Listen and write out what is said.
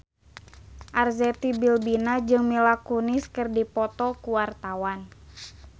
Arzetti Bilbina jeung Mila Kunis keur dipoto ku wartawan